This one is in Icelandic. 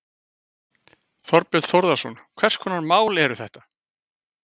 Þorbjörn Þórðarson: Hvers konar mál eru þetta?